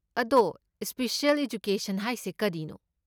ꯑꯗꯣ, special education ꯍꯥꯏꯁꯦ ꯀꯔꯤꯅꯣ?